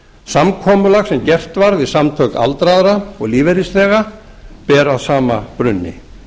samkomulag sem gert var við samtök aldraðra og lífeyrisþega ber að sama brunni